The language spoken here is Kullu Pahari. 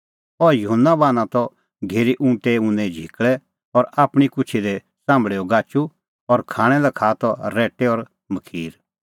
अह युहन्ना बान्हां त घेरी ऊँटे ऊने झिकल़ै और आपणीं कुछी दी च़ाम्भल़ेओ गाचू और खाणां लै खाआ त रैट्टै और मखीर